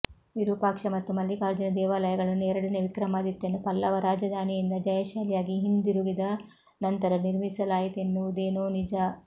ವಿರೂಪಾಕ್ಷ ಮತ್ತು ಮಲ್ಲಿಕಾರ್ಜುನ ದೇವಾಲಯಗಳನ್ನು ಎರಡನೇ ವಿಕ್ರಮಾದಿತ್ಯನು ಪಲ್ಲವ ರಾಜಧಾನಿಯಿಂದ ಜಯಶಾಲಿಯಾಗಿ ಹಿಂದಿರುಗಿದ ನಂತರ ನಿರ್ಮಿಸಲಾಯಿತೆನ್ನುವುದೇನೋ ನಿಜ